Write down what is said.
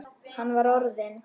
Hann var orðinn.